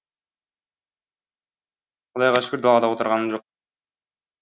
құдайға шүкір далада отырғаным жоқ